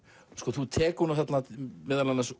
þú tekur þarna út meðal annars